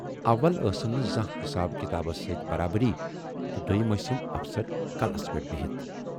اول ٲسٕم نہٕ زانہہ حِساب کِتابس سۭتۍ برابری تہٕ دوم ٲسِم افسر کلس پٮ۪ٹھ بِہِتھ۔